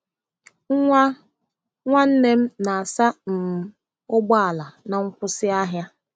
Nwa nwanne m na-asa um ụgbọ ala na nkwụsị ahịa.